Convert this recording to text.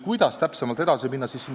Kuidas täpsemalt edasi minna?